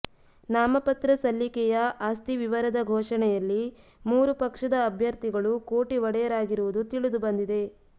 ನಾಮಪತ್ರ ಸಲ್ಲಿಕೆಯ ಆಸ್ತಿ ವಿವರದ ಘೋಷಣೆಯಲ್ಲಿ ಮೂರು ಪಕ್ಷದ ಅಭ್ಯರ್ಥಿಗಳು ಕೋಟಿ ಒಡೆಯರಾಗಿರುವುದು ತಿಳಿದು ಬಂದಿದೆ